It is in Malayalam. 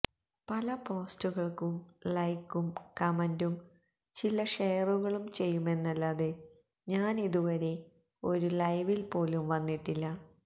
പല പോസ്റ്റുകൾക്കും ലൈക്കും കമന്റും ചില ഷെയറുകളും ചെയ്യുമെന്നല്ലാതെ ഞാനിതു വരെ ഒരു ലൈവിൽ പോലും വന്നിട്ടില്ല